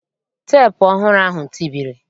Teepu ọhụrụ ahụ tibiri